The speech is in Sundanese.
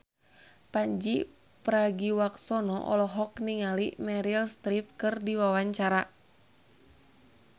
Pandji Pragiwaksono olohok ningali Meryl Streep keur diwawancara